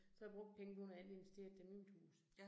Så har jeg brugt pengene på noget andet, investeret dem i mit hus